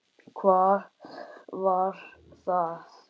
Hvað var það?